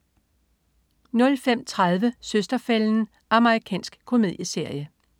05.30 Søster-fælden. Amerikansk komedieserie